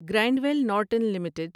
grind well Norton limited